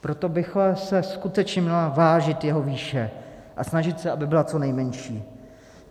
Proto by se skutečně měla vážit jeho výše a snažit se, aby byla co nejmenší.